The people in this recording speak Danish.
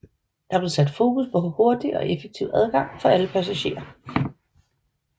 Der blev sat fokus på hurtig og effektiv adgang for alle passagerer